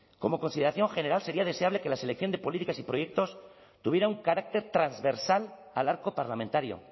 como consideración general sería deseable que la selección de políticas y proyectos tuviera un carácter transversal al arco parlamentario